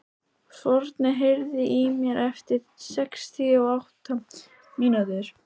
Forni, heyrðu í mér eftir sextíu og átta mínútur.